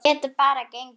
Geta bara gengið.